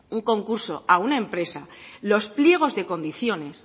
un concurso a una empresa los pliegos de condiciones